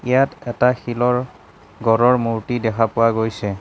ইয়াত এটা শিলৰ গঁড়ৰ মূৰ্তি দেখা পোৱা গৈছে।